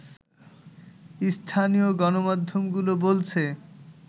স্থানীয় গণমাধ্যমগুলো বলছে